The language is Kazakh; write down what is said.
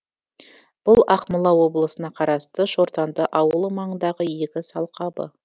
бұл ақмола облысына қарасты шортанды ауылы маңындағы егіс алқабы